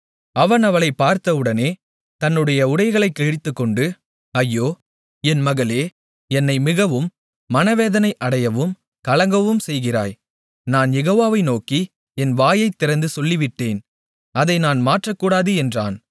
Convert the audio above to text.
அவன் அவளைப் பார்த்தவுடனே தன்னுடைய உடைகளைக் கிழித்துக்கொண்டு ஐயோ என் மகளே என்னை மிகவும் மனவேதனை அடையவும் கலங்கவும் செய்கிறாய் நான் யெகோவாவை நோக்கி என் வாயைத் திறந்து சொல்லிவிட்டேன் அதை நான் மாற்றக்கூடாது என்றான்